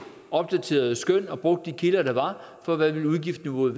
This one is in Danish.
opdaterede skøn var og brugte de kilder der var for hvad udgiftsniveauet